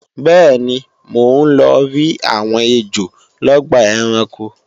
bẹ́ẹ̀ni, mò ń lọrí àwọn ejò lọ́gbà ẹranko